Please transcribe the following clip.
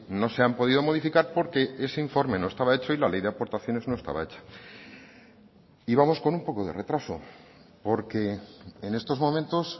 no se han podido modificar porque ese informe no estaba hecho y la ley de aportaciones no estaba hecha y vamos con un poco de retraso porque en estos momentos